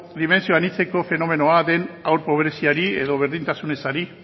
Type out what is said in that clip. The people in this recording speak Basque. dimentsio anitzeko fenomenoa den haur pobreziari edo berdintasun ezari